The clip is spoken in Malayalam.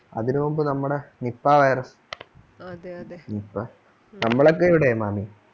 അതിനു മുമ്പ് നമ്മുടെ nipah virus അതെ അതെ നമ്മളൊക്കെ ഇവിടെ മാമി